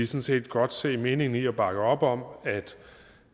set godt se meningen i og vi bakker op om